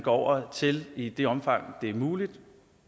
over til i det omfang det er muligt